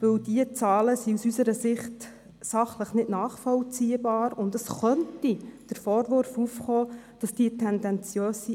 Denn die vorliegenden Zahlen sind aus unserer Sicht sachlich nicht nachvollziehbar, und es könnte der Vorwurf aufkommen, dass sie tendenziös sind.